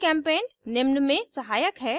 gchempaint निम्न में सहायक है